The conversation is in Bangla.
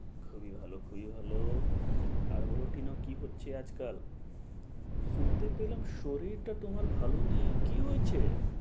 খুবই ভালো, খুবই ভালো, আর বলো টিনা কি হচ্ছে আজকাল? শুনতে পেলাম শরীরটা তোমার ভালো নেই, কি হয়েছে?